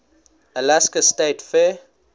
alaska state fair